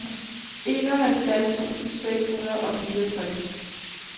enoghalvfjerds tusind seks hundrede og fireogtres